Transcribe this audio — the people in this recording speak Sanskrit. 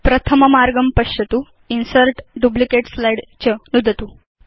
प्रथम मार्गं पश्यतु इन्सर्ट् डुप्लिकेट् स्लाइड् च नुदतु